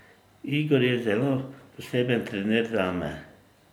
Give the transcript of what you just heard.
Igor je zelo poseben trener zame.